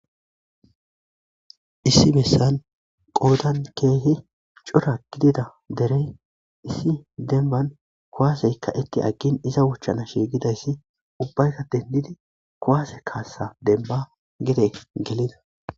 Issi messan qoodan keehi cora gidida derey issi denban kuwaaseykka itti aggin iza wuchchana shiigidayssi ubbayka dendidi kuwaase kaassa demba gede gelida.